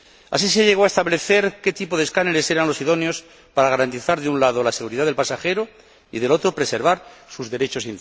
Así se llegó a establecer qué tipo de escáneres eran los idóneos para garantizar, de un lado, la seguridad del pasajero y, del otro, preservar intactos sus derechos.